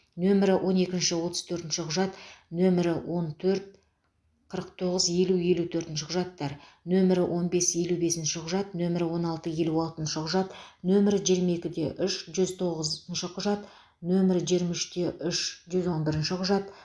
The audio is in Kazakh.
нөмірі он екінші отыз төртінші құжат нөмірі он төрт қырық тоғыз елу елу төртінші құжаттар нөмірі он бес елу бесінші құжат нөмірі он алты елу алтыншы құжат нөмірі жиырма екіде үш жүз тоғызыншы құжат нөмір жиырма үште үш жүз он бірінші құжат